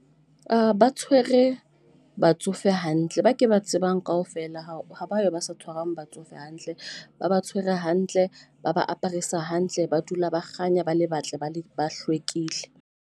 Ah ba tshwere batsofe hantle, ba ke ba tsebang kaofela ha batho ba sa tshwarang batsofe hantle. Ba ba tshwere hantle, ba ba aparisa hantle. Ba dula ba kganya ba le batle, ba le ba hlwekile.